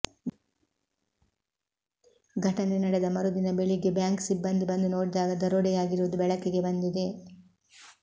ಘಟನೆ ನಡೆದ ಮರುದಿನ ಬೆಳಿಗ್ಗೆ ಬ್ಯಾಂಕ್ ಸಿಬ್ಬಂದಿ ಬಂದು ನೋಡಿದಾಗ ದರೋಡೆಯಾಗಿರುವುದು ಬೆಳಕಿಗೆ ಬಂದಿದೆ